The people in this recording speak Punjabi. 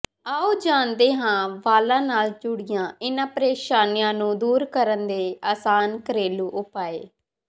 ਆਓ ਜਾਣਦੇ ਹਾਂ ਵਾਲਾਂ ਨਾਲ ਜੁੜੀਆਂ ਇਨ੍ਹਾਂ ਪ੍ਰੇਸ਼ਾਨੀਆਂ ਨੂੰ ਦੂਰ ਕਰਨ ਦੇ ਆਸਾਨ ਘਰੇਲੂ ਉਪਾਅ